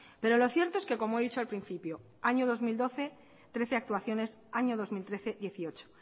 pero lo cierto es que como he dicho al principio en el año dos mil doce trece actuaciones y en el año dos mil trece hemezortzi